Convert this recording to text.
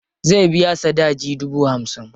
Zai biya sadaji dubu hamsin.